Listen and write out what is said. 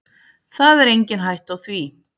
Það er engin hætta á því.